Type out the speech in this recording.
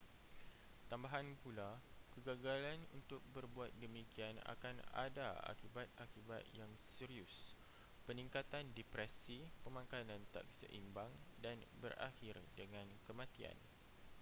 tambahan pula kegagalan untuk berbuat demikian akan ada akibat-akibat yang serius peningkatan depresi pemakanan tak seimbang dan berakhir dengan kematian